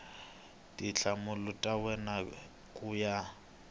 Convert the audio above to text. tinhlamulo ta wena ku ya